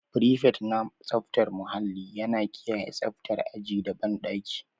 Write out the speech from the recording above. Frifet na tsaftar muhalli yana kiyaye tsaftar aji da banɗaki.